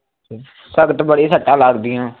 ਸਖਤ ਬੜੀ ਸੱਟਾ ਲੱਗ ਗੀਆ